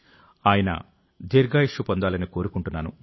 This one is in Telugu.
ఆయన దీర్ఘాయుష్షు పొందాలని కోరుకుంటున్నాను